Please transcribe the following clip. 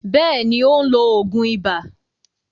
Bẹ́ẹ̀ni, ó ń lo òògùn ibà.